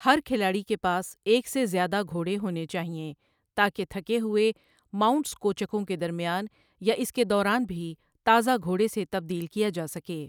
ہر کھلاڑی کے پاس ایک سے زیادہ گھوڑے ہونے چاہئیں، تاکہ تھکے ہوئے ماونٹس کو چکوں کے درمیان یا اس کے دوران بھی تازہ گھوڑے سے تبدیل کیا جا سکے۔